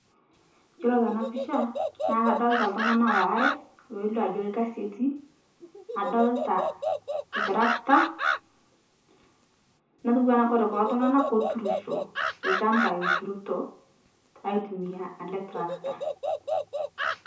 Yuolo tana pisha naa kadolita ltung'ana oare, loilio ajo lkasi etii, adolita ltrakta, netuwana kore kulo tung'ana koturusho, lchamba eturuto aitumia ale trakta.